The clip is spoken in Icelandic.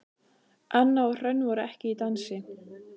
Anna og Hrönn voru ekki í dansi.